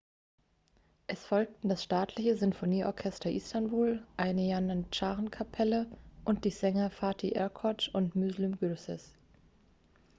es folgten das staatliche sinfonieorchester istanbul eine janitscharenkapelle und die sänger fatih erkoç und müslüm gürses